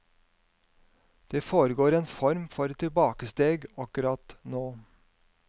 Det foregår en form for tilbakesteg akkurat nå.